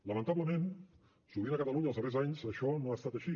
lamentablement sovint a catalunya els darrers anys això no ha estat així